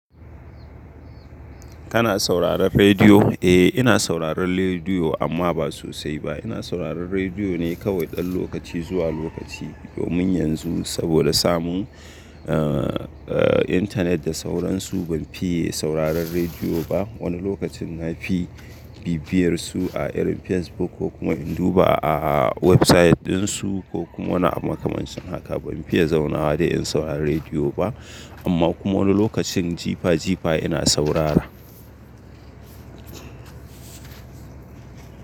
Kana sauraron rediyo? Eh, ina sauraron lediyo amma ba sosai ba. Ina sauraron rediyo ne kawai ɗan lokaci zuwa lokaci, domin yanzu saboda samun, eh, internet da sauransu ban fiye sauraron rediyo ba. Wani lokacin na fi bibiyar su a irin Facebook ko kuma in duba a website ɗinsu ko kuma na ama kamancin haka ban fiye zaunawa da in saurari rediyo ba. Amma kuma wani lokacin jifa jifa ina saurara.